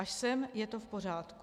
Až sem je to v pořádku.